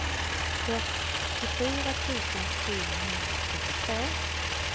fyrtiofyra tusen sjuhundratrettiotvå